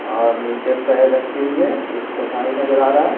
और नीचे पैर रखी हुई है एक चटाई नजर आ रहा है।